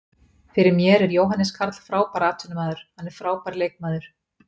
Fyrir mér er Jóhannes Karl frábær atvinnumaður, hann er frábær leikmaður.